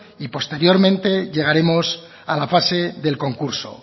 y posteriormente llegaremos a la fase del concurso